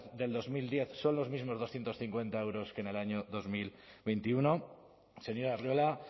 del dos mil diez son los mismos doscientos cincuenta euros que en el año dos mil veintiuno señor arriola